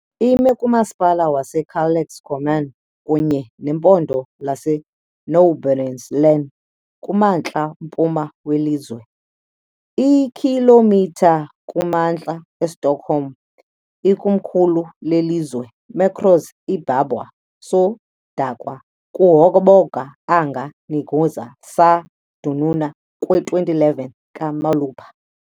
Ime kumasipala waseKalix Kommun kunye nempondo laseNorbottens län, kumantla mpuma welizwe, iikhilomitha kumantla eStockholm, ikomkhulu lelizwe. metros ibabaw sa dagat kahaboga ang nahimutangan sa Kalix, ug adunay kwi2011 ka molupyo.